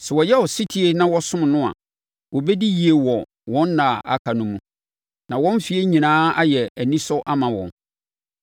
Sɛ wɔyɛ ɔsetie na wɔsom no a, wɔbɛdi yie wɔ wɔn ɛnna a aka no mu na wɔn mfeɛ nyinaa ayɛ anisɔ ama wɔn.